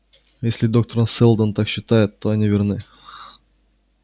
если доктор сэлдон так считает то они верны